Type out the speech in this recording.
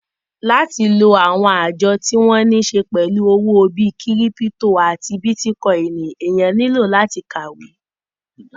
Láti lo àwọn àjọ tí wọ́n níse pẹ̀lú owó bí kírípítò àti bítíkọìnì, èèyàn nílò láti kàwé